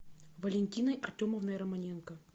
валентиной артемовной романенко